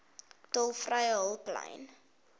tolvrye hulplyn